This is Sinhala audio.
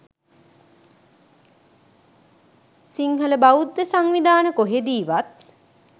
සිංහල බෞද්ධ සංවිධාන කොහෙදීවත්